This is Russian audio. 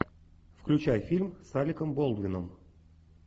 включай фильм с алеком болдуином